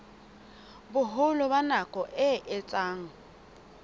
boholo ba nako e etsang